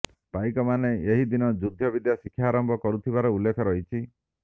ପାଇକମାନେ ଏହିଦିନ ଯୁଦ୍ଧ ବିଦ୍ୟା ଶିକ୍ଷା ଆରମ୍ଭ କରୁଥିବାର ଉଲ୍ଲେଖ ରହିଛି